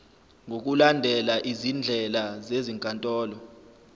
ngokulandela izindlela zezinkantolo